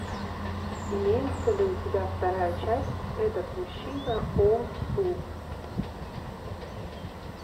имеется ли у тебя вторая часть этот мужчина о су